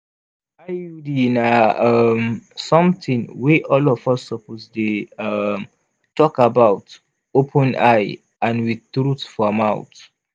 iud na um sometin wey all of us suppose dey um talk about open-eye and with truth for mouth.